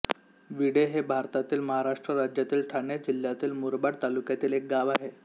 विढे हे भारतातील महाराष्ट्र राज्यातील ठाणे जिल्ह्यातील मुरबाड तालुक्यातील एक गाव आहे